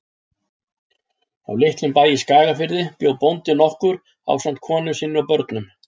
Á litlum bæ í Skagafirði bjó bóndi nokkur ásamt konu sinni og börnum.